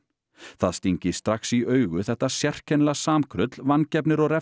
það stingi strax í augu þetta sérkennilega samkrull vangefnir og